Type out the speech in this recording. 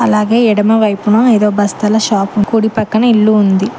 అలాగే ఎడమవైపును ఏదో బస్తాల షాపు కుడి పక్కన ఇల్లు ఉంది.